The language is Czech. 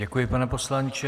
Děkuji, pane poslanče.